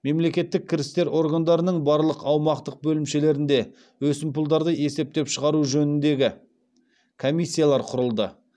мемлекеттік кірістер органдарының барлық аумақтық бөлімшелерінде өсімпұлдарды есептеп шығару жөніндегі комиссиялар құрылды